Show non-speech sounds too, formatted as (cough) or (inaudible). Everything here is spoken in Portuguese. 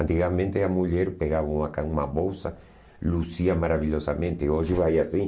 Antigamente a mulher pegava uma (unintelligible) uma bolsa, (unintelligible) maravilhosamente, hoje vai assim.